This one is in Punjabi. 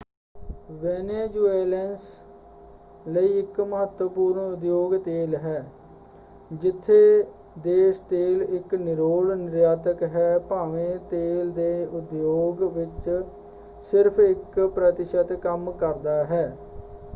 ਵੈਨੇਜ਼ੁਏਲੈਂਸ ਲਈ ਇਕ ਮਹੱਤਵਪੂਰਨ ਉਦਯੋਗ ਤੇਲ ਹੈ ਜਿੱਥੇ ਦੇਸ਼ ਤੇਲ ਇਕ ਨਿਰੋਲ ਨਿਰਯਾਤਕ ਹੈ ਭਾਵੇਂ ਤੇਲ ਦੇ ਉਦਯੋਗ ਵਿੱਚ ਸਿਰਫ ਇਕ ਪ੍ਰਤਿਸ਼ਤ ਕੰਮ ਕਰਦਾ ਹੈ।